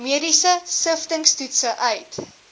mediese siftingstoetse uit